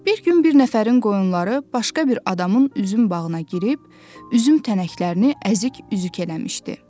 Bir gün bir nəfərin qoyunları başqa bir adamın üzüm bağına girib, üzüm tənəklərini əzik üzük eləmişdi.